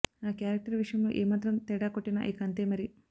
ఆ క్యారెక్టర్ విషయంలో ఏమాత్రం తేడా కొట్టినా ఇక అంతే మరి